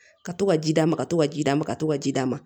Ka to ka ji d'a ma ka to ka ji d'a ma ka to ka ji d'ma ma